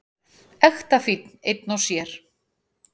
Ekta fínn einn og sér.